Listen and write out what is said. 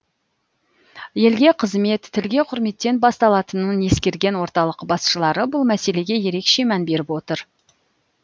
елге қызмет тілге құрметтен басталатынын ескерген орталық басшылары бұл мәселеге ерекше мән беріп отыр